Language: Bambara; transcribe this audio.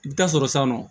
I bɛ taa sɔrɔ sisan nɔ